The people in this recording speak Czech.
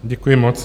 Děkuji moc.